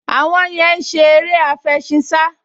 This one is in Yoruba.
Àwọn yẹn ń ṣe eré àfẹṣinsá